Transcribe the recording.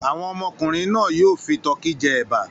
Àwọn ọmọkùnrin náà yóò fi tọkí jẹ ẹ̀bà.